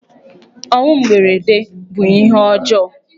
Ọnwụ mberede bụ ihe ọjọọ.